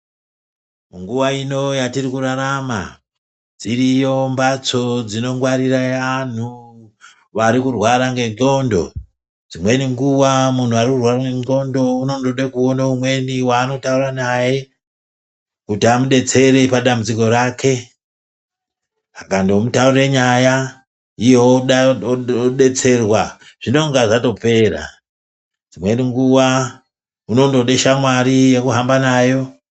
Nguva ino yatiri kurarama dziriyo mbatso dzinongwarire antu varikurwara ngendxondo. Dzimweni nguva muntu arikurwara nendxondo anoda kuona umweni vaanotaura naye. Kuti amubetsere padambudziko rake. Akando mutaurira nyaya iye vobetserwa zvinonga zvatopera, dzimweni nguva unondode shamwari yekuhamba nayo.